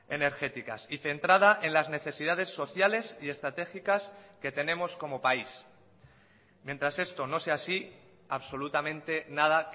energéticas y centrada en las necesidades sociales y estratégicas que tenemos como país mientras esto no sea así absolutamente nada